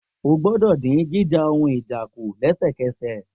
O gbọ́dọ̀ dín jíjà ohun ìjà kù lẹ́sẹ̀kẹsẹ̀